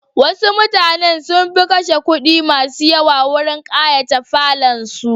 Wasu mutanen sun fi kashe kudi masu yawa wurin kayata falonsu.